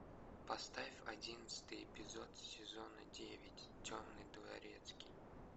поставь одиннадцатый эпизод сезона девять темный дворецкий